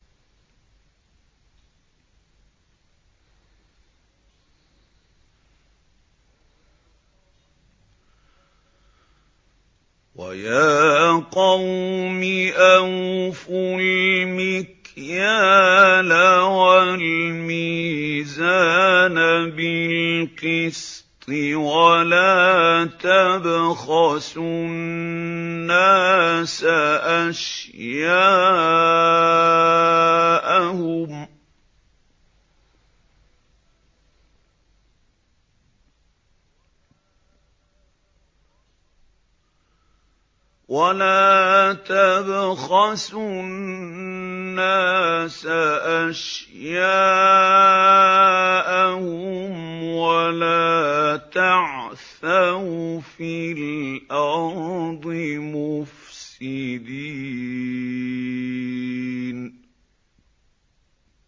وَيَا قَوْمِ أَوْفُوا الْمِكْيَالَ وَالْمِيزَانَ بِالْقِسْطِ ۖ وَلَا تَبْخَسُوا النَّاسَ أَشْيَاءَهُمْ وَلَا تَعْثَوْا فِي الْأَرْضِ مُفْسِدِينَ